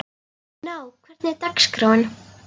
Gná, hvernig er dagskráin?